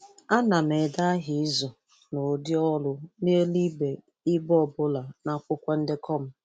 A na m ede aha izu na ụdị-ọrụ n’elu ibe ibe ọ bụla n’akwụkwọ ndekọ m.